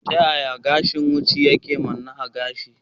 Ta yaya gashin wucin gadi yake manne da gashi?